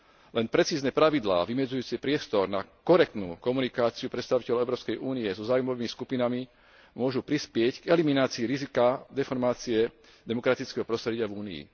Len precízne pravidlá vymedzujúce priestor na korektnú komunikáciu predstaviteľov Európskej únie so záujmovými skupinami môžu prispieť k eliminácii rizika deformácie demokratického prostredia v Únii.